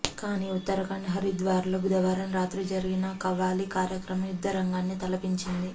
కానీ ఉత్తరాఖండ్ హరిద్వార్లో బుధవారం రాత్రి జరిగిన ఖవ్వాలీ కార్యక్రమం యుద్ధరంగాన్ని తలపించింది